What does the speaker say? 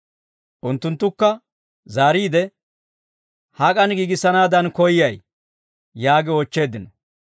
Unttunttukka zaariide, «Hak'an giigissanaadan koyyay?» yaagi oochcheeddino.